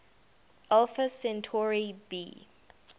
alpha centauri b